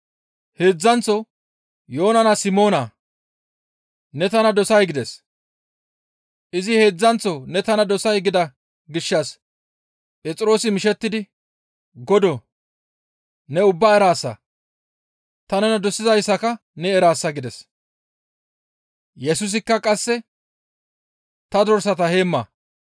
Heedzdzanththo, «Yoona naa Simoonaa! Ne tana dosay?» gides. Izi heedzdzanththo, «Ne tana dosay?» gida gishshas Phexroosi mishettidi, «Godoo! Ne ubbaa eraasa; ta nena dosizayssaka ne eraasa» gides; Yesusikka qasseka, «Ta dorsata heemma.